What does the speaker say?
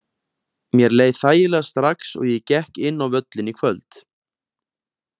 Mér leið þægilega strax og ég gekk inn á völlinn í kvöld.